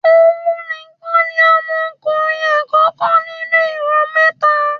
Ohùn nìkan ni Ọmọ Ọmọ ọkùnrin àkókó nínú ìran mẹ́ta